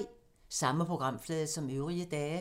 Samme programflade som øvrige dage